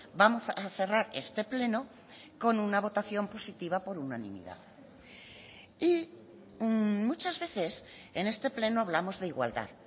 vamos a cerrar este pleno con una votación positiva por unanimidad y muchas veces en este pleno hablamos de igualdad